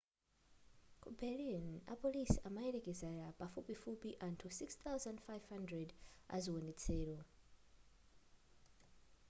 ku berlin apolisi amayelekeza pafupifupi anthu 6,500 aziwonetsero